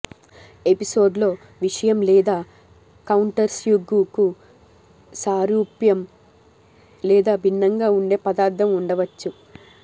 ఎపిసోడ్లో విషయం లేదా కౌంటర్స్బ్యుగ్యూకు సారూప్యం లేదా భిన్నంగా ఉండే పదార్థం ఉండవచ్చు